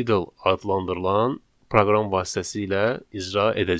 Idle adlandırılan proqram vasitəsilə icra edəcəyik.